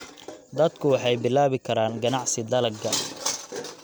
Dadku waxay bilaabi karaan ganacsi dalagga.